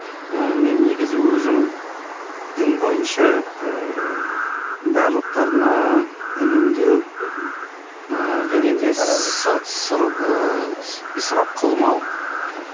і мен негізі өзім дін бойынша ыыы барлықтарына үнемдеу мхм ы және исрап қылмау аха